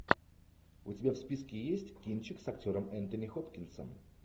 у тебя в списке есть кинчик с актером энтони хопкинсом